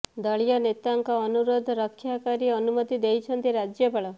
ଦଳୀୟ ନେତାଙ୍କ ଅନୁରୋଧ ରକ୍ଷା କରି ଅନୁମତି ଦେଇଛନ୍ତି ରାଜ୍ୟପାଳ